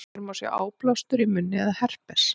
hér má sjá áblástur í munni eða herpes